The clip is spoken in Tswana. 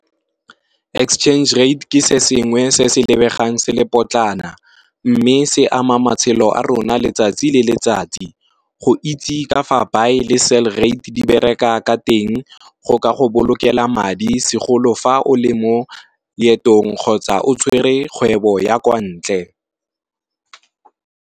Exchange rate ke se sengwe se se lebegang se le potlana. Mme se ama matshelo a rona letsatsi le letsatsi, go itse ka fa buy le sell rate di bereka ka teng go ka go bolokelang madi segolo fa o le mo leetong kgotsa o tshwere kgwebo ya kwa ntle.